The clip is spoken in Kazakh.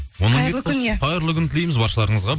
қайырлы күн иә қайырлы күн тілейміз баршаларыңызға